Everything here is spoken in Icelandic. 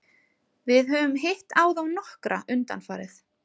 Við höfum hitt á þá nokkra undanfarið.